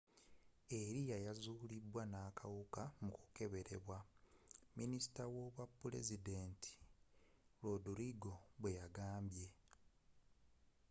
arias yazulidwa nakawuka mu kukeberebwa minisita w'obwapulezidenti rodrigo bweyagambye